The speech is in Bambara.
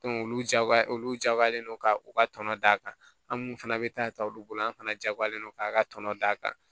olu jagoya olu jagoyalen don ka u ka tɔnɔ d'a kan an minnu fana bɛ taa ta olu bolo an fana jagoyalen don k'a ka tɔnɔ d'a kan